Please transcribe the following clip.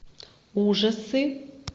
ужасы